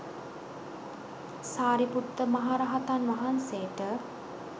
සාරිපුත්ත මහරහතන් වහන්සේට